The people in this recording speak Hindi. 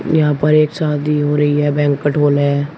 यहां पर एक शादी हो रही है बैंक्वेट हॉल है।